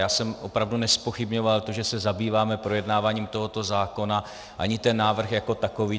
Já jsem opravdu nezpochybňoval to, že se zabýváme projednáváním tohoto zákona, ani ten návrh jako takový.